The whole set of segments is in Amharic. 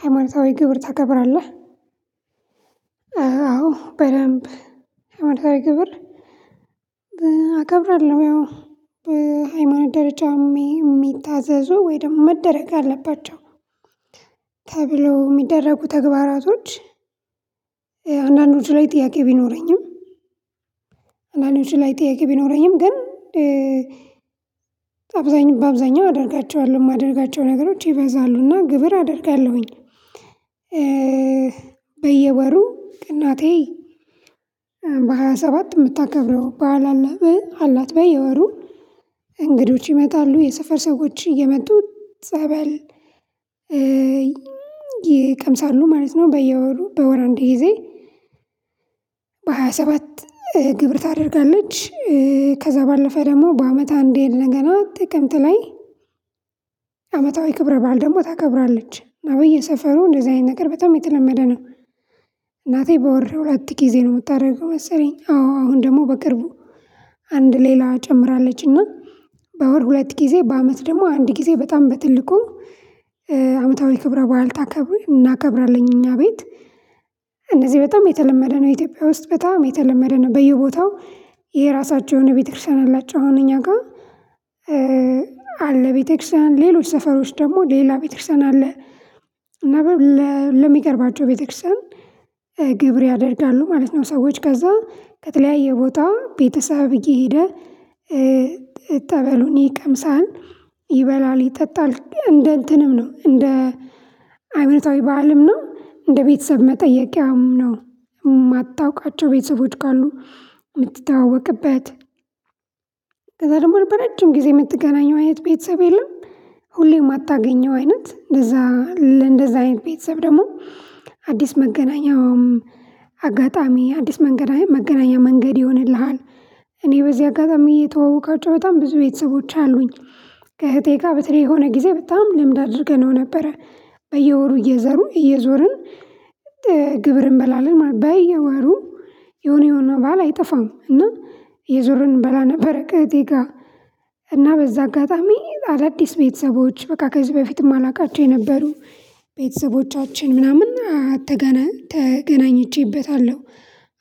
ሃይማኖታዊ ግብር ታከብራለህ? አዎ በደንብ። ሃይማኖታዊ ግብር አከብራለሁ። ያው በሃይማኖት ደረጃ ሚሚታዘዙ ወይ ደግሞ መደረግ አለባቸው። ተብሎ ሚደረጉ ተግባራቶች። አንዳንዶቹ ላይ ጥያቄ ቢኖረኝም። አንዳንዶቹ ላይ ጥያቄ ቢኖረኝም ግን። አብዛኛው በአብዛኛው አደርጋቸዋለሁ ማደርጋቸው ነገሮች ይበዛሉ እና ግብር አደርጋለሁኝ። በየወሩ እናቴ በሃያ ሰባት ምታከብረው በዓል አለ አላት። በየወሩ እንግዶች ይመጣሉ የሰፈር ሰዎች እየመጡ ጸበል ይቀምሳሉ ማለት ነው። በየወሩ በወር እንድ ጊዜ። በሃያ ሰባት ግብር ታደርጋለች። ከዛ ባለፈ ደግሞ በአመት አንድ ሄድ ነገር ግን ጥቅምት ላይ። አመታዊ ክብረ በዓል ደግሞ ታከብራለች አብይ ሰፈሩ እንደዚህ አይነት ነገር በጣም የተለመደ ነው። እናቴ በወር ሁለት ጊዜ ነው ምታደርገው መሰለኝ አዎ አሁን ደግሞ በቅርቡ። አንድ ሌላ ጨምራለች እና በወር ሁለት ጊዜ በአመት ደግሞ አንድ ጊዜ በጣም በትልቁ። አመታዊ ክብረ በዓል ታከብር እናከብራለን እኛ ቤት። እነዚህ በጣም የተለመደ ነው ኢትዮጵያ ውስጥ በጣም የተለመደ ነው በየቦታው። የራሳቸውን ቤተክርስቲያን አላቸው አሁን እኛ ጋር። አለ ቤተክርስቲያን ሌሎች ሰፈሮች ደግሞ ሌላ ቤተክርስቲያን አለ። ነበር ለሚቀርባቸው ቤተክርስቲያን ግብር ያደርጋሉ ማለት ነው። ሰዎች ከዛ ከተለያየ ቦታ ቤተሰብ እየሄደ። ጠበሉኒ ይቀምሳል ይበላል ይጠጣል እንደ እንትንም ነው እንደ ሃይማኖታዊ በዓልም ነው እንደ ቤተሰብ መጠየቂያም ነው። ማታውቃቸው ቤተሰቦች ካሉ ምትታወቅበት። ከዛ ደግሞ በረጅም ጊዜ ምትገናኘው አይነት ቤተሰብ የለም። ሁሌም ማታገኘው አይነት እንደዛ እንደዛ አይነት ቤተሰብ ደግሞ አዲስ መገናኛም። አጋጣሚ አዲስ መገናኛ መገናኛ መንገድ ይሆንልሃል። እኔ በዚህ አጋጣሚ የተዋወኳቸው በጣም ብዙ ቤተሰቦች አሉኝ። ከእህቴ ጋር በተለይ የሆነ ጊዜ በጣም ልምድ አድርገነው ነበረ በየወሩ እየዘሩ እየዞርን። ግብር እንበላለን ማለት በየወሩ። የሆነ የሆነ በዓል አይጠፋም እና እየዞርን እንበላ ነበር። ከእህቴ ጋር። እና በዛ አጋጣሚ አዳዲስ ቤተሰቦች በቃ ከዚህ በፊትም እማላውቃቸው የነበሩ ቤተሰቦቻችን ምናምን አትገና ተገናኝቼበታለሁ።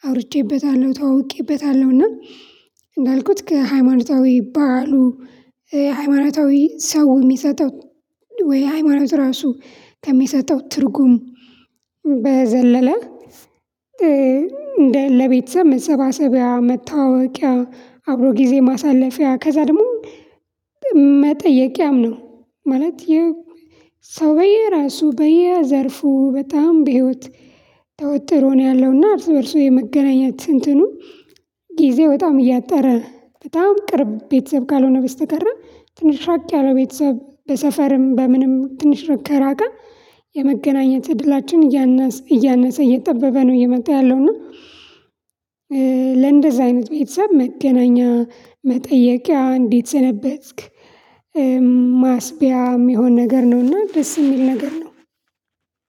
አውርቼበታለሁ ተዋውቄበታለሁ እና እንዳልኩት ከሃይማኖታዊ በዓሉ። ሃይማኖታዊ ሰው እሚሰጠው ወይ ሃይማኖት ራሱ ከሚሰጠው ትርጉም። በዘለለ። እንደ ለቤተሰብ መሰባሰቢያ መተዋወቂያ አብሮ ጊዜ ማሳለፊያ ከዛ ደግሞ መጠየቂያም ነው። ማለት የ ሰው በየራሱ በየዘርፉ በጣም በህይወት ተወጥሮ ነው ያለውና እርስ በእርሱ የመገናኘት እንትኑ። ጊዜ በጣም እያጠረ በጣም ቅርብ ቤተሰብ ካልሆነ በስተቀረ ትንሽ ራቅ ያለው ቤተሰብ በሰፈርም በምንም ትንሽ ከራቀ። የመገናኘት እድላችን እያነሰ እያነሰ እየጠበበ ነው እየመጣ ያለው እና። ለእንደዚህ አይነት ቤተሰብ መገናኛ መጠየቂያ እንዴት ሰነበትክ? ማስቢያ እሚሆን ነገር ነውና ደስ እሚል ነገር ነው።